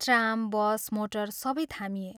Tram, bus, motor सबै थामिए।